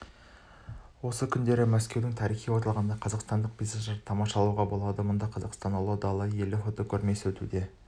осы күндері мәскеудің тарихи орталығында қазақстандық пейзаждарды тамашалауға болады мұнда қазақстан ұлы дала елі фотокөрмесі өтуде